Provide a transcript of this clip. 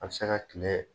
A bɛ se ka kile